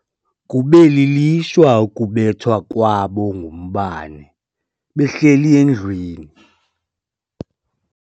Kube lilishwa ukubethwa kwabo ngumbane behleli endlwini.